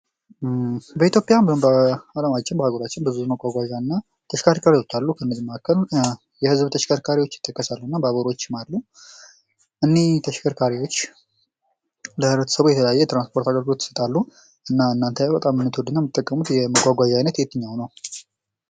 በኢትዮጵያ በአለማችን በአህጉራችን ብዙ የመጓጓዣና ተሽከርካሪዎች አሉ። ከነዚህ መካከል የህዝብ ተሽከርካሪዎች ይጠቀሳሉ። ባቡሮችም አሉ። እኝህ ተሽከርካሪዎች ለህብረተሰቡ የተለያየ የትራንስፖርት አገልግሎት ይሰጣሉ ። እናንተ የምትወዱት እና የምትጠቀሙት የመጓጓዣ አይነት የትኛው ነው?